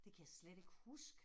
Det kan jeg slet ikk huske